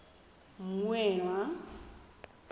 mmuela